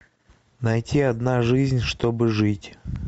найти одна жизнь чтобы жить